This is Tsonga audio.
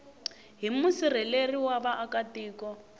hi musirheleli wa vaaka tiko